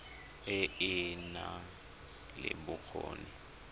e e nang le bokgoni